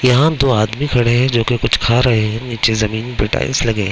यहा म दो आदमी खड़े है जो कि कुछ खा रहे है निचे जमींन पे टाइल्स लगी है।